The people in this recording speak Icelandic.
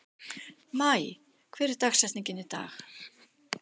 Maj, hver er dagsetningin í dag?